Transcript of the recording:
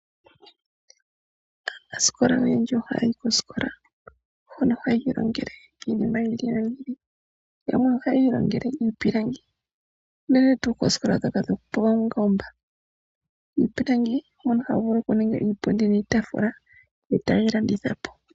Aanasikolanoyendji ohaya yi koosikola hoka haya ilongele iinima oyindji. Yamwe ihayi ilongele iipilangi uunene ngaa koosikola dhoka dhopaumbomba. Miipilangi moka tamu vulu okuningwa iipundi niitaafula ee tayi landithwapo.